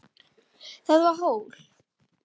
Það var hól.